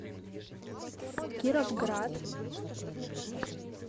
кировград